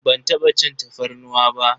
Ban taɓa cin tafarnuwa ba.